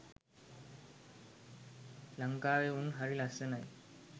ලංකාවෙ උන් හරි ලස්සනයි.